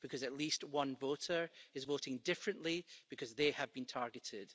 Because at least one voter is voting differently because they have been targeted.